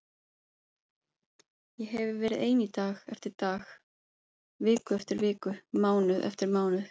Ég hefi verið ein dag eftir dag, viku eftir viku, mánuð eftir mánuð.